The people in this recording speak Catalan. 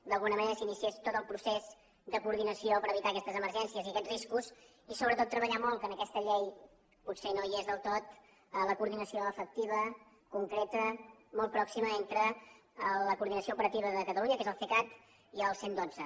d’alguna manera s’iniciés tot el procés de coordinació per evitar aquestes emergències i aquests riscos i sobretot treballar molt que en aquesta llei potser no hi és del tot la coordinació efectiva concreta molt pròxima entre la coordinació operativa de catalunya que és el cecat i el cent i dotze